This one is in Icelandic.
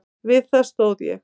Við það stóð ég.